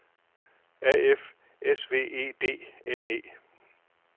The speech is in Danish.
A F S V E D N E